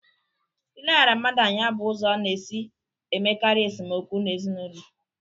Ileghara mmadụ anya bụ ụzọ a na-esi emekarị esemokwu ezinụlọ.